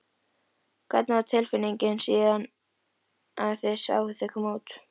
Hvernig var tilfinningin síðan að sjá þau koma út?